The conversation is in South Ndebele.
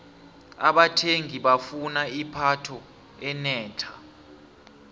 abathengi bafuna ipatho enetlha